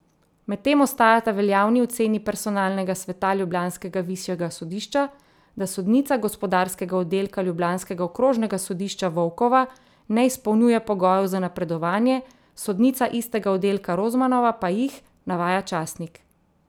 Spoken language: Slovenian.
Medtem ostajata veljavni oceni personalnega sveta ljubljanskega višjega sodišča, da sodnica gospodarskega oddelka ljubljanskega okrožnega sodišča Volkova ne izpolnjuje pogojev za napredovanje, sodnica istega oddelka Rozmanova pa jih, navaja časnik.